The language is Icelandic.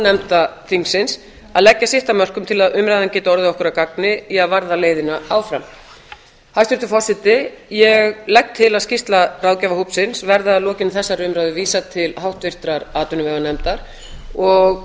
nefnda þingsins að leggja sitt af mörkum til að umræðan geti orðið okkur að gagni í að varða leiðina áfram hæstvirtur forseti ég legg til að skýrslu ráðgjafarhópsins verði að lokinni þessari umræðu vísað til háttvirtrar atvinnuveganefndar og